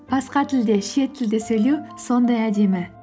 басқа тілде шет тілде сөйлеу сондай әдемі